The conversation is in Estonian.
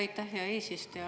Aitäh, hea eesistuja!